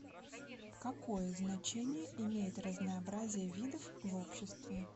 какое значение имеет разнообразие видов в обществе